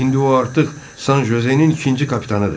İndi o artıq San Jozenin ikinci kapitanıdır.